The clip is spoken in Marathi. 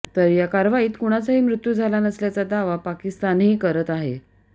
तर या कारवाईत कुणाचाही मृत्यू झाला नसल्याचा दावा पाकिस्तानही करत आहे